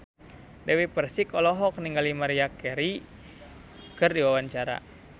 Dewi Persik olohok ningali Maria Carey keur diwawancara